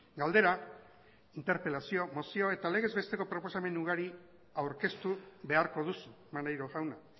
galdera interpelazioa mozio eta legez besteko proposamen ugari aurkeztu beharko duzu maneiro jauna